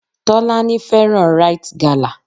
Tọ́lání fẹ́ràn Rite gala.